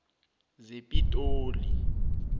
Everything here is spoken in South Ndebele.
zepitoli